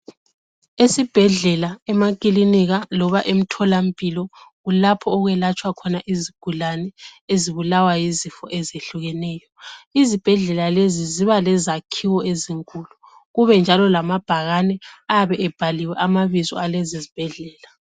Esibhedlela, emakilinika loba emtholampilo kulapho okwelatshwa khona izigulane ezibulawa yizifo ezehlukeneyo. Izibhedlela lezi ziba lezakhiwo ezinkulu, kube njalo lamabhakane ayabe ebhaliwe amabizo alezi zibhedlela.